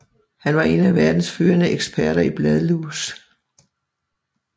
Han var en af verdens førende eksperter i bladlus